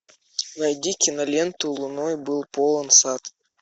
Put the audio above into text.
найди киноленту луной был полон сад